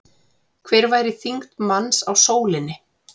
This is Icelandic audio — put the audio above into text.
Hver væri þyngd manns á sólinni?